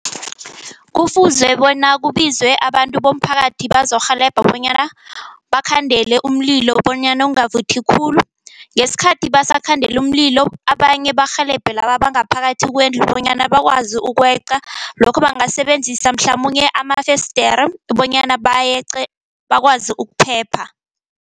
Kufuze bona kubizwe abantu bomphakathi bazokurhelebha bonyana bakhandele umlilo bonyana ungavuthi khulu. Ngesikhathi basakhandela umlilo, abanye barhelebhe laba bangaphakathi kwendlu bonyana bakwazi ukweqa. Lokho bangasebenzisa mhlamunye amafesidere bonyana bayeqe bakwazi ukuphepha.